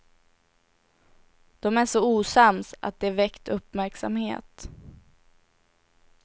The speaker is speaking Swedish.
De är så osams att det väckt uppmärksamhet.